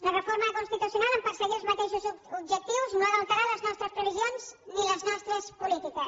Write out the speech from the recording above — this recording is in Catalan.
la reforma constitucional en perseguir els mateixos objectius no ha d’alterar les nostres previsions ni les nostres polítiques